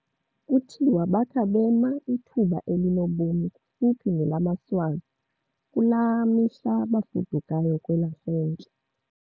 Kuthiwa bakha bema ithuba elinobomi kufuphi nelamaSwazi kulaa mihla bafudukayo kwelasentla.